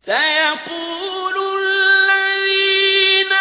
سَيَقُولُ الَّذِينَ